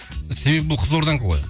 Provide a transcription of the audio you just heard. себебі бұл қызылорданікі ғой